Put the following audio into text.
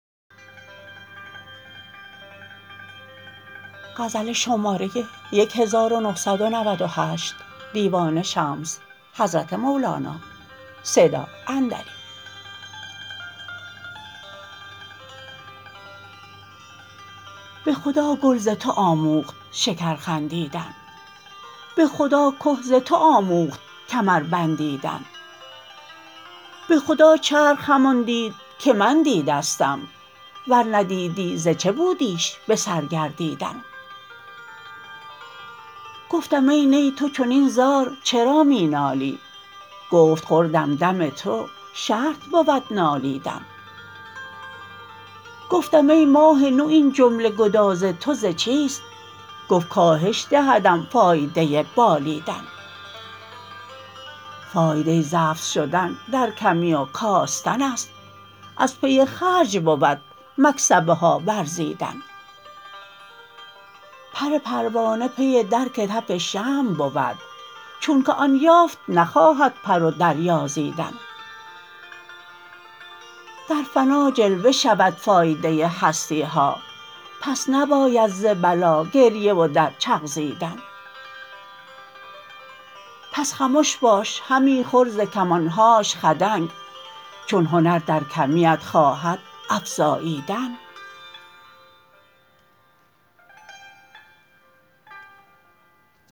به خدا گل ز تو آموخت شکر خندیدن به خدا که ز تو آموخت کمر بندیدن به خدا چرخ همان دید که من دیدستم ور نه دیدی ز چه بودیش به سر گردیدن گفتم ای نی تو چنین زار چرا می نالی گفت خوردم دم او شرط بود نالیدن گفتم ای ماه نو این جمله گداز تو ز چیست گفت کاهش دهدم فایده بالیدن فایده زفت شدن در کمی و کاستن است از پی خرج بود مکسبه ها ورزیدن پر پروانه پی درک تف شمع بود چونک آن یافت نخواهد پر و دریازیدن در فنا جلوه شود فایده هستی ها پس نباید ز بلا گریه و درچغزیدن پس خمش باش همی خور ز کمان هاش خدنگ چون هنر در کمیت خواهد افزاییدن